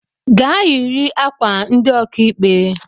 Gaa yiri ákwà ndị okaikpe!